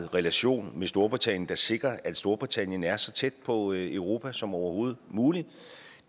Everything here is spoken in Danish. relation med storbritannien der sikrer at storbritannien er så tæt på europa som overhovedet muligt